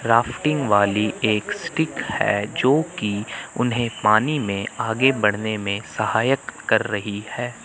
Crafting वाली एक stick है जो कि उन्हें पानी में आगे बढ़ने में सहायक कर रही हैं।